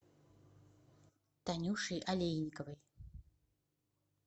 танюшей олейниковой